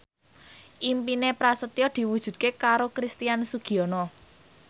impine Prasetyo diwujudke karo Christian Sugiono